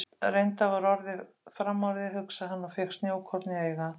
Reyndar var orðið framorðið, hugsaði hann og fékk snjókorn í augað.